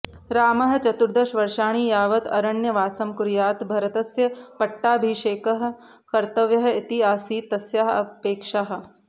रामः चतुर्दशवर्षाणि यावत् अरण्यवासं कुर्यात् भरतस्य पट्टाभिषेकः कर्तव्यः इति आसीत् तस्याः अपेक्षाः